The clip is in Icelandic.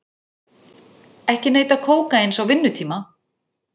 Ekki neyta kókaíns á vinnutíma